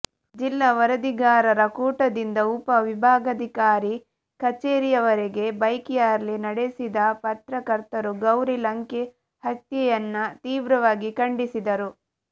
ಜಿಲ್ಲಾ ವರದಿಗಾರರ ಕೂಟದಿಂದ ಉಪ ವಿಭಾಗಾಧಿಕಾರಿ ಕಚೇರಿವರೆಗೆ ಬೈಕ್ ರ್ಯಾಲಿ ನಡೆಸಿದ ಪತ್ರಕರ್ತರು ಗೌರಿ ಲಂಕೇ ಹತ್ಯೆಯನ್ನ ತೀವ್ರವಾಗಿ ಖಂಡಿಸಿದರು